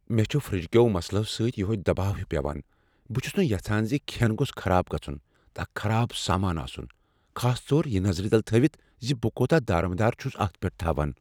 مےٚ چھ فرٛجہ کیو مسلو سۭتۍ یہوے دباو ہیُو پیوان۔ بہٕ چھس نہٕ یژھان زِ کھیٚنہٕ گوٚژھ خراب گژھن تہٕ اکھ خراب سامان آسن، خاص طور یہ نظر تل تھٲوتھ زِ بہٕ کوتاہ دارمدار چھس اتھ پیٹھ تھاوان۔